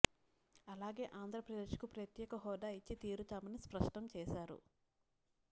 అలాగే ఆంధ్రప్రదేశ్ కు ప్రత్యేక హోదా ఇచ్చి తీరుతామని స్పష్టం చేశారు